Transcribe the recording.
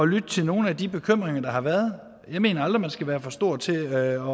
lytte til nogle af de bekymringer der har været jeg mener aldrig at man skal være for stor til at